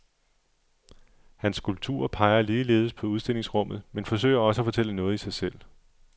Hans skulpturer peger ligeledes på udstillingsrummet, men forsøger også at fortælle noget i sig selv.